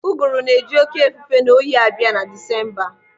Ụgụrụ na-eji oké efufe na oyi abịa na Disemba.